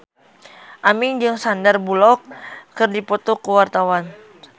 Aming jeung Sandar Bullock keur dipoto ku wartawan